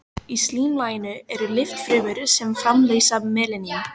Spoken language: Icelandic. Í slímlaginu eru litfrumur sem framleiða melanín.